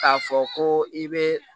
K'a fɔ ko i bɛ